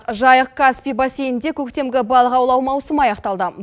жайық каспи бассейнде көктемгі балық аулау мауысымы аяқталды